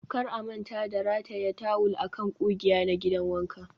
kar a manta da rataya tawul a kan ƙugiya na gidan wanka